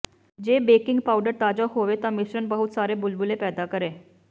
ਜੇ bleaching powder ਤਾਜ਼ਾ ਹੋਵੇ ਤਾਂ ਮਿਸ਼ਰਣ ਬਹੁਤ ਸਾਰੇ ਬੁਲਬਲੇ ਪੈਦਾ ਕਰੇ